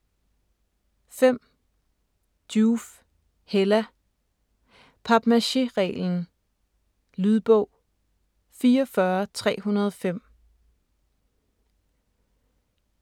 5. Joof, Hella: Papmaché-reglen Lydbog 44305